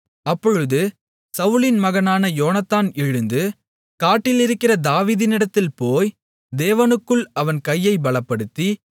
அப்பொழுது சவுலின் மகனான யோனத்தான் எழுந்து காட்டிலிருக்கிற தாவீதினிடத்தில் போய் தேவனுக்குள் அவன் கையை பலப்படுத்தி